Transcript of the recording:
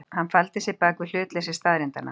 Hann faldi sig bak við hlutleysi staðreyndanna.